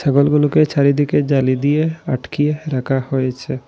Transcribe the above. ছাগলগুলোকে চারিদিকে জালি দিয়ে আটকিয়ে রাখা হয়েছে।